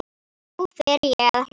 Nú fer ég að hlæja.